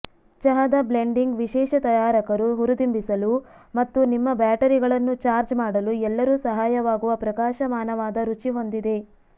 ಚಹಾದ ಬ್ಲೆಂಡಿಂಗ್ ವಿಶೇಷ ತಯಾರಕರು ಹುರಿದುಂಬಿಸಲು ಮತ್ತು ನಿಮ್ಮ ಬ್ಯಾಟರಿಗಳನ್ನು ಚಾರ್ಜ್ ಮಾಡಲು ಎಲ್ಲರೂ ಸಹಾಯವಾಗುವ ಪ್ರಕಾಶಮಾನವಾದ ರುಚಿ ಹೊಂದಿದೆ